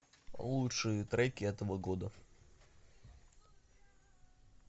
лучшие треки этого года